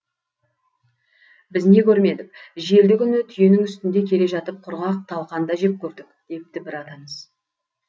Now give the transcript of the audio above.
біз не көрмедік желді күні түйенің үстінде келе жатып құрғақ талқан да жеп көрдік депті бір атамыз